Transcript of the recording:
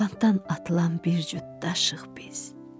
Sapandan atılan bir cüt daşıyıq biz.